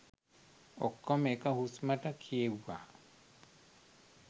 ඔක්කොම එක හුස්මට කියෙව්වා